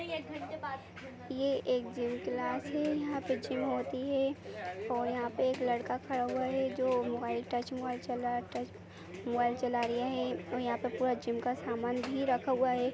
ये एक gym class है यहा पे जिम होती है और यहा पे एक लड़का खड़ा हुआ है जो मोबाईल टच मोबाईल चला टच मोबाईल चला रेया है और यहा पे पूरा जिम का समान भी रखा हुआ है।